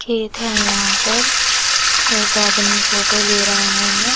खेत है यहाँ पर एक आदमी फोटो ले रहा है।